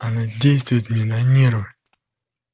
она действует мне на нервы